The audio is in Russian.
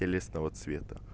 телесного цвета